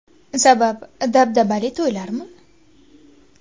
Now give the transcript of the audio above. Sabab dabdabali to‘ylarmi?